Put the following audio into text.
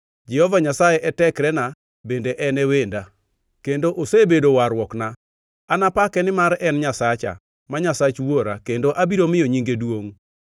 “Jehova Nyasaye e tekrena bende en e wenda; kendo osebedo warruokna. Anapake nimar en Nyasacha, ma Nyasach wuora, kendo abiro miyo nyinge duongʼ.